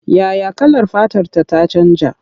Ya ya kalar fatarta ta canja?